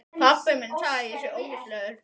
Þraut ekki þor.